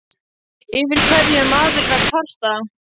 Yfir hverju er maðurinn að kvarta?